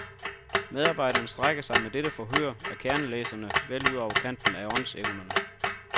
Medarbejderne strækker sig med dette forhør af kernelæserne vel ud til kanten af åndsevnerne.